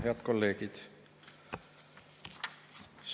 Head kolleegid!